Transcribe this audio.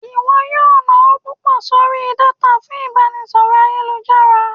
iwọ yọọ nawo pupọ sorí datá fún ibaraẹnisọrọ ayélujará.